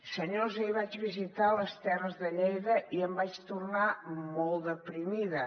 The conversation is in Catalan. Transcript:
senyors ahir vaig visitar les terres de lleida i en vaig tornar molt deprimida